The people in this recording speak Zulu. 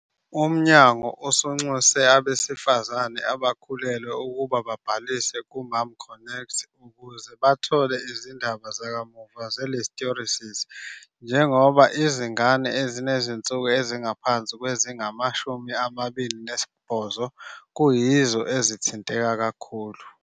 Umnyango usunxuse abesifazane abakhulelwe ukuba babhalise kuMomConnect ukuze bathole izindaba zakamuva ze-Listeriosis njengoba izingane ezinezinsuku ezingaphansi kwezingama-28 kuyizo ezithinteka kakhulu.